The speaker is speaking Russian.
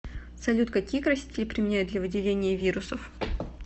салют какие красители применяют для выделения вирусов